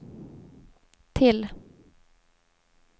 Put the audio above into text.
till